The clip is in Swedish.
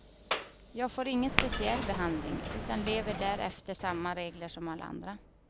Jag får ingen speciell behandling, utan lever där efter samma regler som alla andra.